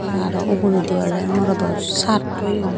aro uguredi oley morodo shirt toyoun.